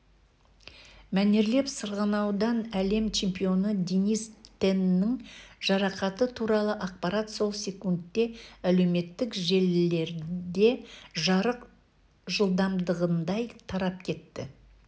мәнерлеп сырғанаудан әлем чемпионы денис теннің жарақаты туралы ақпарат сол секундте әлеуметтік желілерде жарық жылдамдығындай тарап кетті